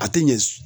A tɛ ɲɛ